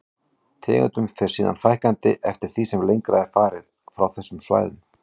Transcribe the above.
Tegundum fer síðan fækkandi eftir því sem lengra er farið frá þessum svæðum.